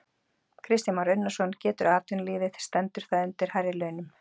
Kristján Már Unnarsson: Getur atvinnulífið, stendur það undir hærri launum?